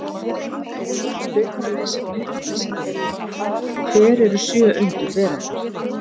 Frekara lesefni á Vísindavefnum: Hver eru sjö undur veraldar?